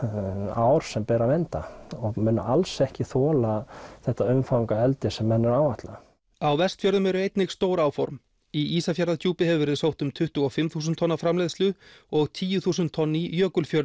ár sem ber að vernda og munu alls ekki þola þetta umfang að eldi sem menn eru að áætla á Vestfjörðum eru einnig stór áform í Ísafjarðardjúpi hefur verið sótt um tuttugu og fimm þúsund tonna framleiðslu og tíu þúsund tonn í Jökulfjörðum